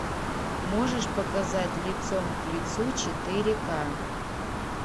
можешь показать лицом к лицу четыре ка